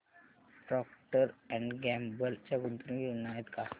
Procter and Gamble च्या गुंतवणूक योजना आहेत का